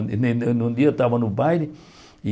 Um ne ne num dia eu estava no baile e